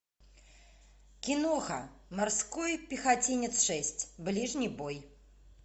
киноха морской пехотинец шесть ближний бой